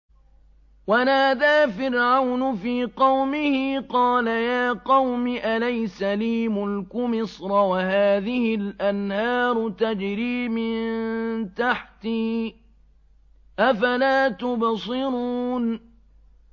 وَنَادَىٰ فِرْعَوْنُ فِي قَوْمِهِ قَالَ يَا قَوْمِ أَلَيْسَ لِي مُلْكُ مِصْرَ وَهَٰذِهِ الْأَنْهَارُ تَجْرِي مِن تَحْتِي ۖ أَفَلَا تُبْصِرُونَ